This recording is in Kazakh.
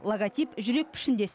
логотип жүрек пішіндес